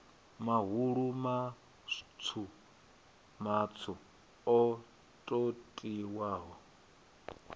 mahulu matswu matswu o totiwaho